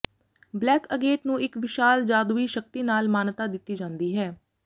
black agate ਨੂੰ ਇੱਕ ਵਿਸ਼ਾਲ ਜਾਦੂਈ ਸ਼ਕਤੀ ਨਾਲ ਮਾਨਤਾ ਦਿੱਤੀ ਜਾਂਦੀ ਹੈ